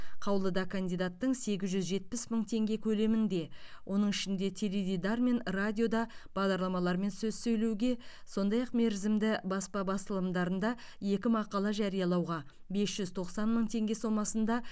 қаулыда кандидаттың сегіз жүз жетпіс мың теңге көлемінде оның ішінде теледидар мен радиода бағдарламалармен сөз сөйлеуге сондай ақ мерзімді баспа басылымдарында екі мақала жариялауға бес жүз тоқсан мың теңге сомасында